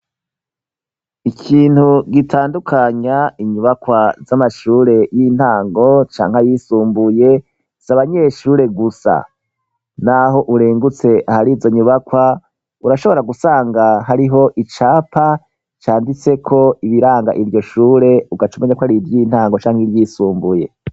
Ikintu gitandukanya inyubakwa z'amashure y'intango canke yisumbuye, si abanyeshure gusa. Naho urengutse ahari izo nyubakwa urashobora gusanga hariho icapa canditseko ibiranga iryo shure ugacumenya ko ariry' intango canke iryisumbuye.